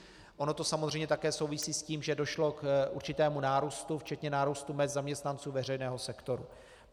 Ono to samozřejmě také souvisí s tím, že došlo k určitému nárůstu, včetně nárůstu mezd zaměstnanců veřejného sektoru.